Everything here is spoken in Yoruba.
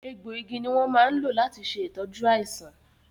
egbò igi ni won máa ń lò láti ṣe ìtọ́jú àìsàn